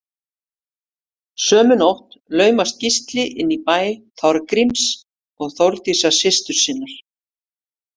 Sömu nóttina laumast Gísli inn í bæ Þorgríms og Þórdísar systur sinnar.